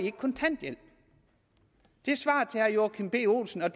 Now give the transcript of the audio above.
ikke kontanthjælp det er svaret til herre joachim b olsen og